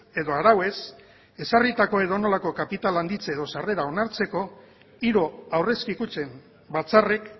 edo arauez ezarritako edonolako kapital handitze edo sarrera onartzeko hiru aurrezki kutxen batzarrek